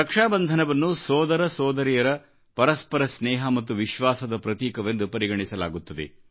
ರಕ್ಷಾಬಂಧನವನ್ನು ಸೋದರ ಸೋದರಿಯರ ಪರಸ್ಪರ ಸ್ನೇಹ ಮತ್ತು ವಿಶ್ವಾಸದ ಪ್ರತೀಕವೆಂದುಪರಿಗಣಿಸಲಾಗುತ್ತದೆ